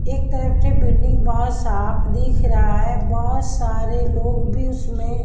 एक तरफ से बिल्डिंग बहुत साफ दिख रहा है बहुत सारे लोग भी उसमें--